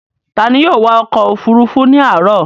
Ta ni yóò wa ọkọ̀-òfurufú ní àárọ̀?